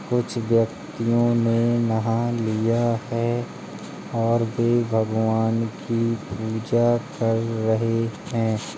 कुछ व्यक्तियों ने नहा लिया है और वे भगवान की पूजा कर रहे हैं।